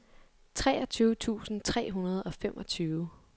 treogtyve tusind tre hundrede og femogfyrre